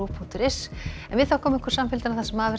punktur is en við þökkum ykkur samfylgdina það sem af er